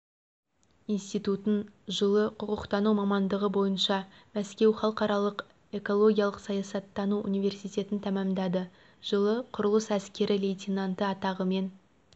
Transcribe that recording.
институтын жылы құқықтану мамандығы бойынша мәскеу халықаралық экологиялық-саясаттану университетін тәмәмдады жылы құрылыс әскері лейтенанты атағымен